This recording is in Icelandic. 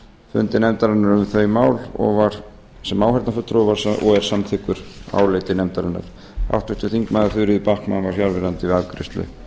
fundi nefndarinnar um þau mál og var sem áheyrnarfulltrúi og er samþykkur áliti nefndarinnar háttvirtir þingmenn þuríður backman var fjarverandi við afgreiðslu